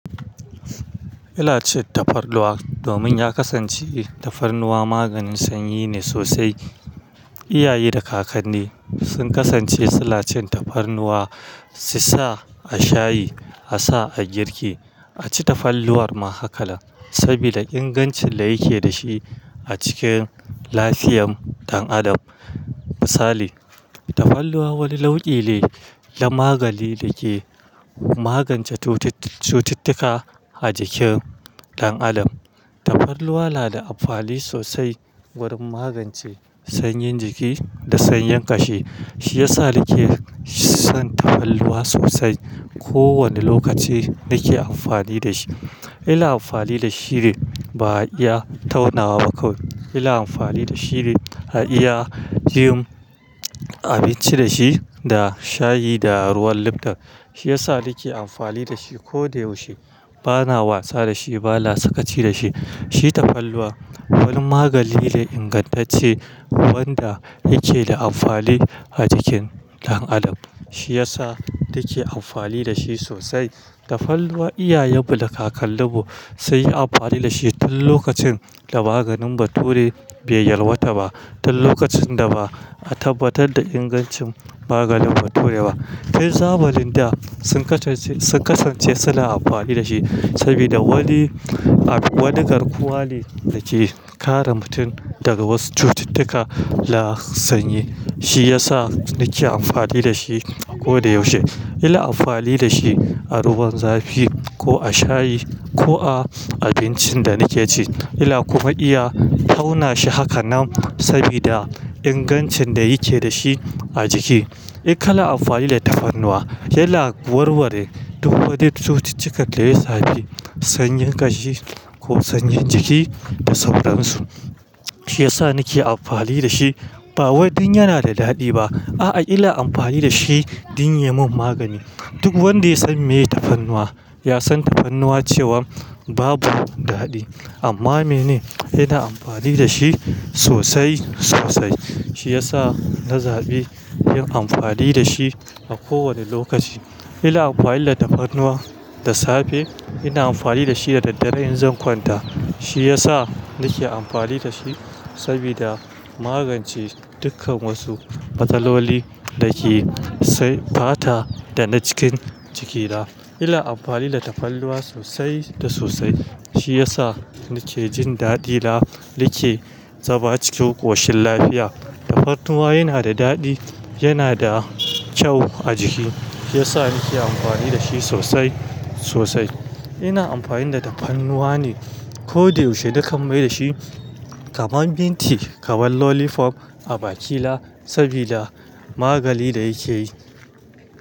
Ina cin tafarnuwa domin ya kasance tafarnuwa maganin sanyi ne sosai. Iyaye da kakanni sun kasance suna cin tafarnuwa, su sa a shayi, a sa a girki, a ci tafalnuwar ma haka nan, sabida ingancin da yake da shi a cikin lafiyam dan adam. Misali, tafarnuwa wani nau'i ne na magani da ke magance cututtuka a jikin dan adam. Tafarnuwa na da amfani sosai wurin magance sanyin jiki da sanyin ƙashi. Shi ya sa nake son tafarnuwa sosai. Ko wane lokaci nake amfani da shi. Ina amfani da shi ne ba ya taunawa ba kawai. Ila amfani da shi ne a iya yin abinci da shi da shayi da ruwan lifton. Shi ya sa nake amfani da shi kodayaushe. Ba na wasa da shi ba, ba na sakaci da shi. Shi tafarnuwa wani magani ne ingantacce wanda yake da amfani a jikin dan adam. Shi ya sa nake amfani da shi sosai. Tafarnuwa iyayenmu da kakanni mu sai yi amfani da shi tun lokacin da maganin Bature bai yalwata ba. Tun lokacin da ba a tabbatar da ingancin maganin Bature ba. Har zamanin da sun kasance suna amfani da shi sabida wani garkuwa ne da ke kare mutum daga wasu cututtuka na sanyi. Shi ya sa nake amfani da shi koda yaushe. Ina amfani da shi a ruwan zafi ko a shayi ko a abincin da nake ci. Ina kuma iya tauna shi haka nan sabida ingancin da yake da shi a jiki. In kana amfani da tafarnuwa. Ina warware duk wadda cututtuka da ya sani, sanyin ƙashi ko sanyin jiki da sauransu. Shi ya sa nake amfani da shi. Ba wai dan yana da daɗi ba. A'a, ina amfani da shi don ya mun magani. Duk wanda ya san meye tafarnuwa, ya san tafarnuwa cewa babu daɗi. Amma mene? Ina amfani da shi sosai sosai. Shi ya sa na zaɓi yin amfani da shi a kowane lokaci. Ina amfani da tafarnuwa da safe, ina amfani da shi da daddare in zan kwanta. Shi yasa nake amfani da shi sabida magance dukkan wasu matsaloli da ke fata da na cikin jikina. Ila amfani da tafarnuwa sosai da sosai. Shi ya sa nike jin daɗi na nike zama cikin ƙoshin lafiya. Tafarnuwa yana da daɗi, yana da kyau a jiki. Shi ya sa nake amfani da shi sosai sosai. Ina amfani da tafarnuwa ne koda yaushe, dukkan mai da shi kaman minti, kaman lolifof a bakila sabida magani da yake yi.